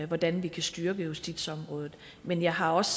hvordan vi kan styrke justitsområdet men jeg har også